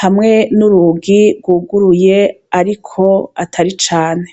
hamwe n'urugi rwuguruye ariko atari cane.